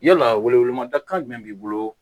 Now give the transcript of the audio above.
Yala welewelemada kan jumɛn b'i bolo